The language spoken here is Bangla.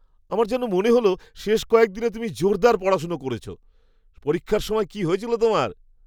আমার যেন মনে হল শেষ কয়েকদিনে তুমি জোরদার পড়াশোনা করছো। পরীক্ষার সময় কী হয়েছিল তোমার?